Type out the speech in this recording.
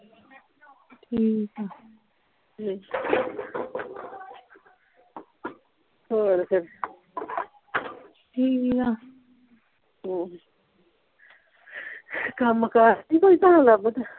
ਠੀਕ ਆ ਹਮ ਹੋਰ ਫੇਰ ਠੀਕ ਆ ਹਮ ਕੰਮ ਕਾਰ ਨਹੀਂ ਤੁਹਾਨੂੰ ਲੱਭਦਾ